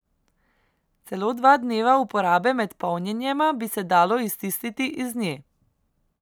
Celo dva dneva uporabe med polnjenjema bi se dalo iztisniti iz nje.